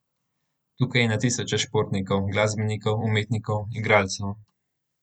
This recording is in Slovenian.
Tukaj je na tisoče športnikov, glasbenikov, umetnikov, igralcev ...